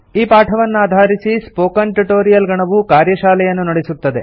ಈ ಪಾಠವನ್ನಾಧಾರಿಸಿ spoken tutorial ಗಣವು ಕಾರ್ಯಶಾಲೆಯನ್ನು ನಡೆಸುತ್ತದೆ